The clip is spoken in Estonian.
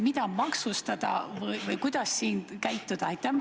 Mida maksustada või mida üldse ette võtta?